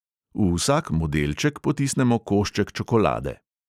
V vsak modelček potisnemo košček čokolade.